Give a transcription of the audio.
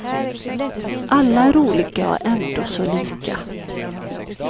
Alla är olika och ändå så lika.